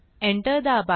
enter दाबा